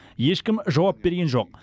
ешкім жауап берген жоқ